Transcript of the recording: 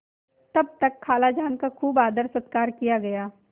तब तक खालाजान का खूब आदरसत्कार किया गया